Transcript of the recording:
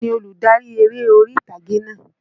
Ta ni olùdarí eré orí ìtàgé náà?